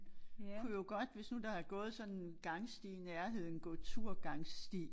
Kunne jo godt hvis nu der har gået sådan en gangsti i nærheden gå tur gangsti